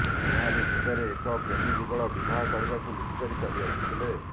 ଏହାରି ଭିତରେ ଏକ ପ୍ରେମୀ ଯୁଗଳ ବିବାହ କରିବାକୁ ଲୁଚି ଚାଲି ଆସିଥିଲେ